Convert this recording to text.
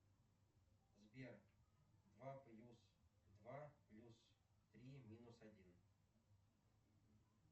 сбер два плюс два плюс три минус один